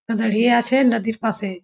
দাঁড়িয়ে আছে নদীর পাশে।